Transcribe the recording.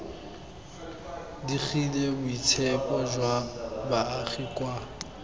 digile boitshepo jwa baagi kwa